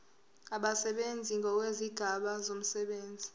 abasebenzi ngokwezigaba zomsebenzi